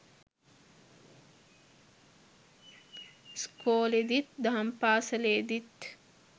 ඉස්කොලේදිත් දහම් පාසලේදිත්